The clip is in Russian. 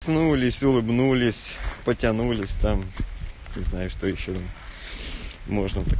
смывались улыбнулись потянулись там знаешь что ещё можно